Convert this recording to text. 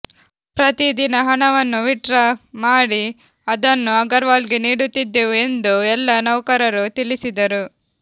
ಪ್ರತೀ ದಿನ ಹಣವನ್ನು ವಿತ್ಡ್ರಾ ಮಾಡಿ ಅದನ್ನು ಅಗರ್ವಾಲ್ಗೆ ನೀಡುತ್ತಿದ್ದೆವು ಎಂದು ಎಲ್ಲಾ ನೌಕರರು ತಿಳಿಸಿದರು